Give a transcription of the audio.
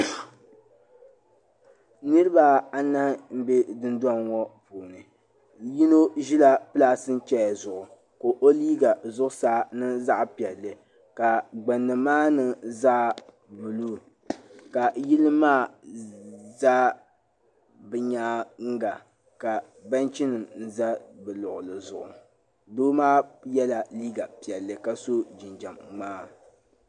Niriba anahi m bɛ dunduŋɔ puuni yino ʒela plastik chɛya zuɣu ka o liiga zuɣu saa niŋ zaɣi piɛlli ka gbuni maa niŋ zaɣi buluu ka yili maa za bi nyaanga ka bɛnchi nim za bɛ luɣuli zuɣu doo maa yɛla liiga piɛlli ka so jinjɛm ŋmaa.